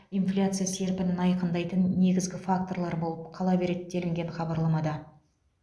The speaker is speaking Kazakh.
инфляция серпінін айқындайтын негізгі факторлар болып қала береді делінген хабарламада